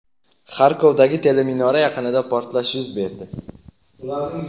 Xarkovdagi teleminora yaqinida portlash yuz berdi.